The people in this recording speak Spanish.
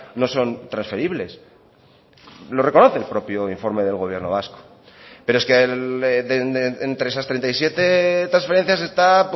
no son transferibles lo reconoce el propio informe del gobierno vasco pero es que entre esas treinta y siete transferencias está